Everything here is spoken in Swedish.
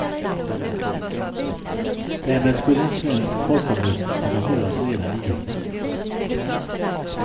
Därmed skulle en svensk folkomröstning kunna hållas redan i juni.